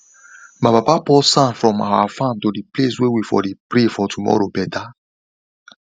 my papa pour sand from our farm to the place way we for dey pray for tomorrow better